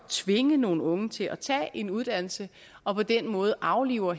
tvinge nogle unge til at tage en uddannelse og på den måde afliver